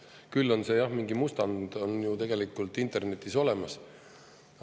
Küll on see, jah, mingi mustand on ju tegelikult internetis olemas.